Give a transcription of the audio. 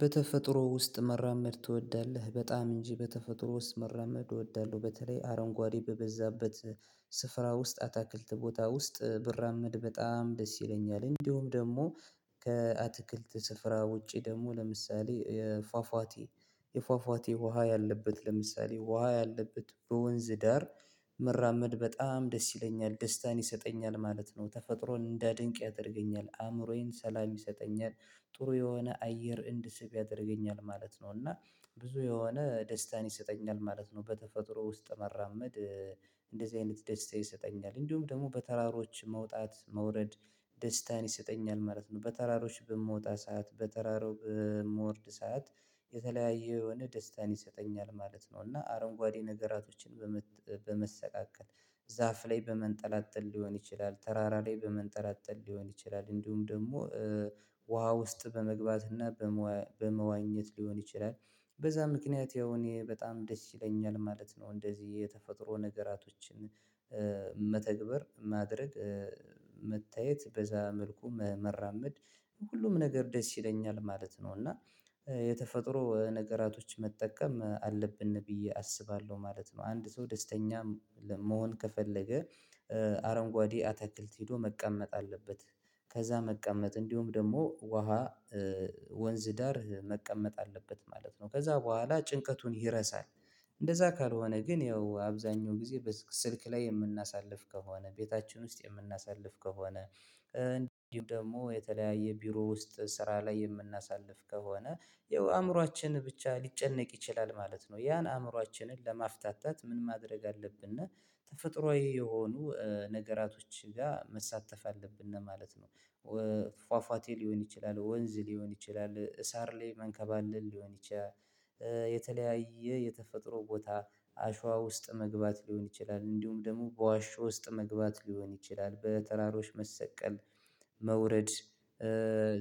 በተፈጥሮ ውስጥ መራመድ ትወዳለህ? በጣም እንጂ በተፈጥሮ ውስጥ መራመድ እወዳለሁ። በተለይ አረንጓዴ በበዛበት ስፍራ ውስጥ አታክልት ቦታ ውስጥ ብራመድ በጣም ደስ ይለኛል። እንዲሁም ደግሞ ከአትክልት ስፍራ ውጪ ደግሞ ለምሳሌ ፏፏቴ የፏፏቴ ውሃ ያለበት፣ ለምሳሌ ውሃ ያለበት በወንዝ ዳር መራመድ በጣም ደስ ይለኛል። ደስታን ይሰጠኛል ማለት ነው። ተፈጥሮን እንዳደንቅ ያደርገኛል። አእምሮዬን ሰላም ይሰጠኛል ጥሩ የሆነ አየር እንድስብ ያደርገኛል ማለት ነው። እና ብዙ የሆነ ደስታን ይሰጠኛል ማለት ነው። በተፈጥሮ ውስጥ መራመድ እንደዚህ አይነት ደስታ ይሰጠኛል። እንዲሁም ደግሞ በተራሮች መውጣት መውረድ ደስታን ይሰጠኛል ማለት ነው። በተራሮች በምወጣ ሰዓት በተራራው በምወርድ ሰዓት የተለያየ የሆነ ደስታን ይሰጠኛል ማለት ነው። እና አረንጓዴ ነገራቶችን በመሰቃቀል ዛፍ ላይ በመንጠላጠል ሊሆን ይችላል፣ ተራራ ላይ በመንጠላጠል ሊሆን ይችላል፣ እንዲሁም ደግሞ ውሃ ውስጥ በመግባትና በመዋኘት ሊሆን ይችላል። በዛ ምክንያት ያው እኔ በጣም ደስ ይለኛል ማለት ነው። እንደዚህ የተፈጥሮ ነገራቶችን መተግበር፣ ማድረግ፣ መታየት በዛ መልኩ መራመድ፣ ሁሉም ነገር ደስ ይለኛል ማለት ነው። እና የተፈጥሮ ነገራቶች መጠቀም አለብን ብዬ አስባለሁ ማለት ነው። አንድ ሰው ደስተኛ መሆን ከፈለገ አረንጓዴ አትክልት ሄዶ መቀመጥ አለበት። ከዛ መቀመጥ እንዲሁም ደግሞ ውሃ ወንዝ ዳር መቀመጥ አለበት ማለት ነው። ከዛ በኋላ ጭንቀቱን ይረሳል እንደዛ ካልሆነ ግን ያው አብዛኛው ጊዜ ስልክ ላይ የምናሳልፍ ከሆነ፣ ቤታችን ውስጥ የምናሳልፍ ከሆነ፣ እንዲሁም ደግሞ የተለያየ ቢሮ ውስጥ ስራ ላይ የምናሳልፍ ከሆነ ይኸው አእምሮአችን ብቻ ሊጨነቅ ይችላል ማለት ነው። ያን አእምሮአችንን ለማፍታታት ምን ማድረግ አለብን? ተፈጥሮአዊ የሆኑ ነገራቶች ጋር መሳተፍ አለብን ማለት ነው። ፏፏቴ ሊሆን ይችላል፣ ወንዝ ሊሆን ይችላል፣ ሳር ላይ መንከባለል ሊሆን ይችላል፣ የተለያየ የተፈጥሮ ቦታ አሸዋ ውስጥ መግባት ሊሆን ይችላል። እንዲሁም ደግሞ በዋሻ ውስጥ መግባት ሊሆን ይችላል፣ በተራሮች መሰቀል፣ መውረድ